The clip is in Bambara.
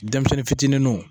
Denmisɛnnin fitininw